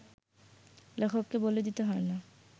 লেখককে বলে দিতে হয় না